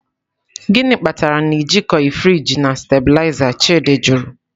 "Gịnị kpatara na ị jikọghị friji na stabiliza?”, Chidi jụrụ.